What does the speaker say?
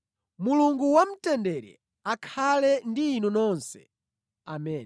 Mulungu wamtendere akhale ndi inu nonse. Ameni.